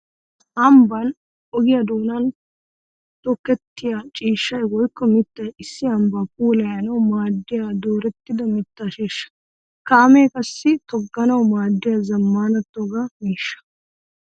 Ambban ogiya doonan tokketiya ciishshay woykko mittay issi ambba puulayannawu maadiya doorettidda mitta sheeshsha. Kaame qassi togganawu maadiya zamaana togga miishsha.